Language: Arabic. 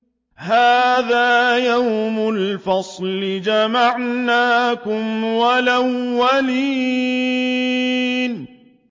هَٰذَا يَوْمُ الْفَصْلِ ۖ جَمَعْنَاكُمْ وَالْأَوَّلِينَ